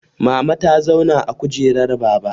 Mama ta zauna a kujerar baba